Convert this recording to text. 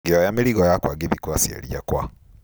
Ngĩoya mĩrigo yakwa ngĩthiĩ kwa aciari akwa.